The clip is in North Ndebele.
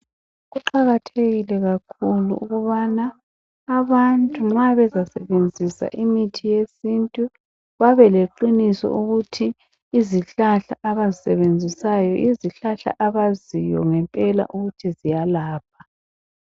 Kuqakathekile kakhulu ukubana abantu nxa bezasebenzisa imithi yesintu babeleqiniso ukuthi izihlahla abazisebenzisayo yizihlahla abaziyo ngempela ukuthi ziyalapha.